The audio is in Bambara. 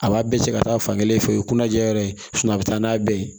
A b'a bɛɛ cɛ ka taa fan kelen fɛ o ye kunajɛ yɔrɔ ye a bɛ taa n'a bɛɛ ye